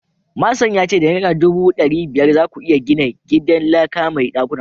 manson ya ce da naira dubu dari biyar za ku iya gina gidan laka mai dakuna uku.